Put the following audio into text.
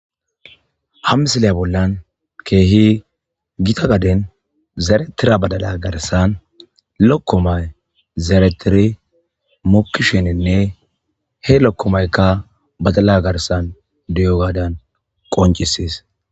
Ha missile bollan keehi giththa gaden zerethida badalla garsan lokomay zerethiri makishininne he lokomayikka badalla garsan de'ogadan qoncieses.